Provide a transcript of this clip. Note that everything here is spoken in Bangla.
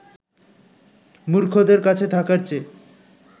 মূর্খদের কাছে থাকার চেয়ে